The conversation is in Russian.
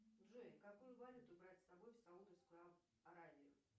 джой какую валюту брать с собой в саудовскую аравию